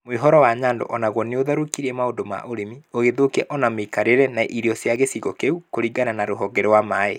Mũihũro wa Nyando o naguo nĩ ũrathũkirie maũndũ ma ũrĩmi. Ugĩthũkia ona mĩikarĩre na irio cia gĩcigo kĩu. kũringana na rũhonge rwa maĩ.